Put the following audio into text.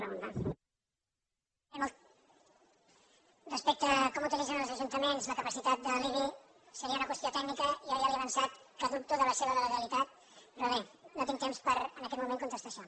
respecte a com utilitzen els ajuntaments la capacitat de l’ibi seria una qüestió tècnica jo ja li he avançat que dubto de la seva legalitat però bé no tinc temps per en aquest moment contestar això